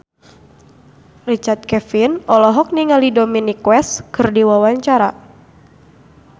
Richard Kevin olohok ningali Dominic West keur diwawancara